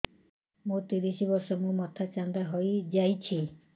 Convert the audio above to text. ମୋ ତିରିଶ ବର୍ଷ ମୋ ମୋଥା ଚାନ୍ଦା ହଇଯାଇଛି